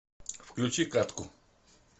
включи катку